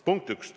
Punkt 1.